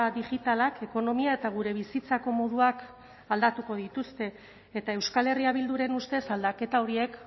digitalak ekonomia eta gure bizitzako moduak aldatuko dituzte eta euskal herria bilduren ustez aldaketa horiek